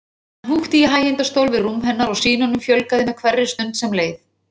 Hann húkti í hægindastól við rúm hennar og sýnunum fjölgaði með hverri stund sem leið.